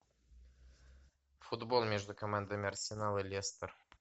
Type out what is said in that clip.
футбол между командами арсенал и лестер